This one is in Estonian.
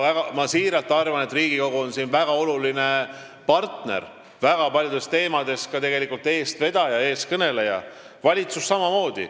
Ma siiralt arvan, et Riigikogu on väga oluline partner, väga paljude teemade puhul tegelikult ka eestvedaja ja eestkõneleja, valitsus samamoodi.